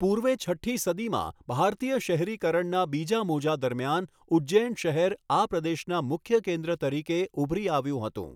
પૂર્વે છઠ્ઠી સદીમાં ભારતીય શહેરીકરણના બીજા મોજા દરમિયાન ઉજ્જૈન શહેર આ પ્રદેશના મુખ્ય કેન્દ્ર તરીકે ઉભરી આવ્યું હતું.